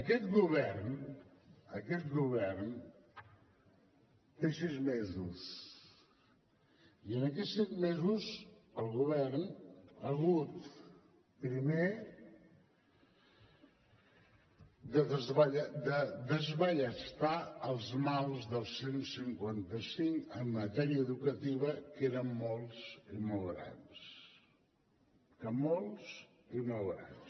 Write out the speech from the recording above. aquest govern aquest govern té sis mesos i en aquests sis mesos el govern ha hagut primer de desballestar els mals del cent i cinquanta cinc en matèria educativa que eren molts i molt grans molts i molt grans